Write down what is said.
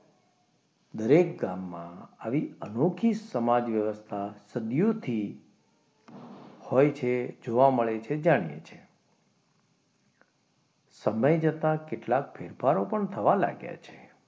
દરેક ગામમાં આવી અનોખી સમાજ વ્યવસ્થા સદીઓથી હોય છે જોવા મળે છે જાણીએ છીએ સમય જતા કેટલાક ફેરફારો પણ થવા લાગ્યા છે.